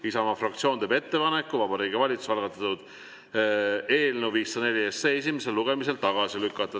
Isamaa fraktsioon teeb ettepaneku Vabariigi Valitsuse algatatud eelnõu 504 esimesel lugemisel tagasi lükata.